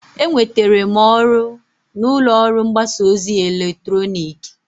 Enwetere m ọrụ n'ụlọ ọrụ mgbasa ozi eletrọnịkị.